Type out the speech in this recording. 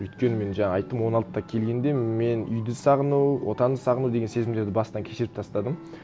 өйткені мен жаңа айттым он алтыда келгенде мен үйді сағыну отанды сағыну деген сезімдерді бастан кешіріп тастадым